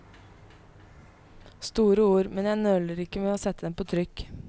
Store ord, men jeg nøler ikke med å sette dem på trykk.